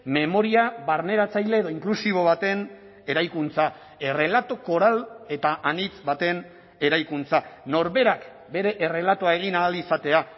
memoria barneratzaile edo inklusibo baten eraikuntza errelato koral eta anitz baten eraikuntza norberak bere errelatoa egin ahal izatea